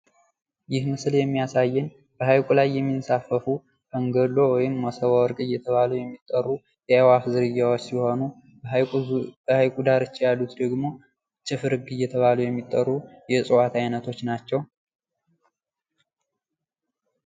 ይህ ምስል የሚያሳየን በሀይቁ ላይ የሚንሳፈፉ ፈንገሎ ወይምመሶበ ወርቅ እየተባሉ የሚጠሩ የአእዋፍ ዝርያዎች ሲሆኑ በሀይቁ ዳርቻ ያሉት ደግሞ ችፍርግ እየተባሉ የሚጠሩ የእጽዋት እይነቶች ናቸው።